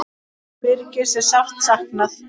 Birgis er sárt saknað.